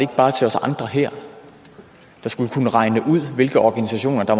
bare til os andre her der skulle kunne regne ud hvilke organisationer der